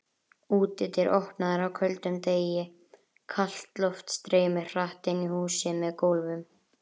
Útidyr opnaðar á köldum degi, kalt loft streymir hratt inn í húsið með gólfum.